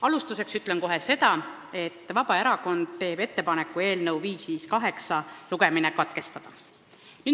Alustuseks ütlen kohe seda, et Vabaerakond teeb ettepaneku eelnõu 558 teine lugemine katkestada.